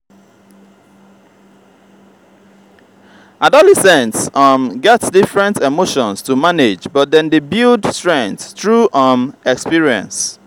adolescents um get different emotions to manage but dem dey build strength through um experience.